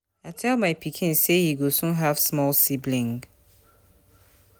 I tell my pikin say he go soon have small sibling